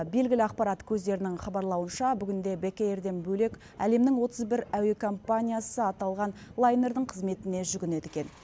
белгілі ақпарат көздерінің хабарлауынша бүгінде бек эйрден бөлек әлемнің отыз бір әуе компаниясы аталған лайнердің қызметіне жүгінеді екен